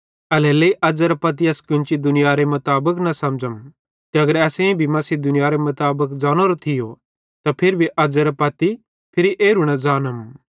एल्हेरेलेइ अज़ेरां पत्ती अस कोन्ची दुनियारे मुताबिक न समझ़ाम ते अगर असेईं भी मसीह दुनियारे मुताबिक ज़ानोरो थियो त फिरी भी अज़्ज़ेरे पत्ती फिरी एरू न ज़ानम